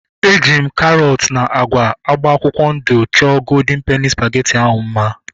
Eji m karọt na agwa agba akwụkwọ ndụ chọọ goldịn peni spageti ahu mma